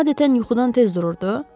Adətən yuxudan tez dururdu.